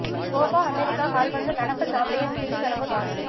Gopa America கால்பந்து நடப்பு champion Chile கனவு காலி